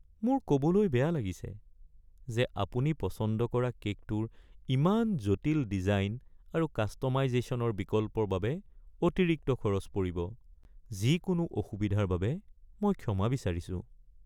মোৰ ক'বলৈ বেয়া লাগিছে যে আপুনি পচন্দ কৰা কে'কটোৰ ইয়াৰ জটিল ডিজাইন আৰু কাষ্ট'মাইজেশ্যনৰ বিকল্পৰ বাবে অতিৰিক্ত খৰচ পৰিব। যিকোনো অসুবিধাৰ বাবে মই ক্ষমা বিচাৰিছো।